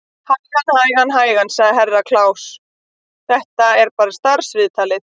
Hægan, hægan, sagði Herra Kláus, þetta er bara starfsviðtalið.